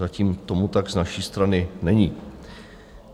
Zatím tomu tak z naší strany není.